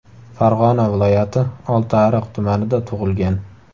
Farg‘ona viloyati Oltiariq tumanida tug‘ilgan.